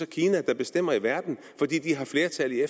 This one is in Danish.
kina der bestemmer i verden fordi de har flertal i